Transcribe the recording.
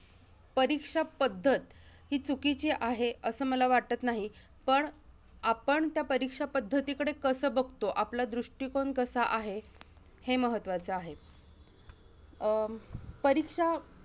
परीक्षा पद्धत, ही चुकीची आहे, असं मला वाटत नाही. पण आपण त्या परीक्षा पद्धतीकडे कसं बघतो? आपला दृष्टीकोन कसा आहे? हे महत्त्वाचं आहे. अं परीक्षा